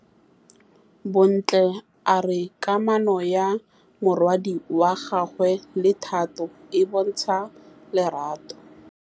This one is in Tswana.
Bontle a re kamanô ya morwadi wa gagwe le Thato e bontsha lerato.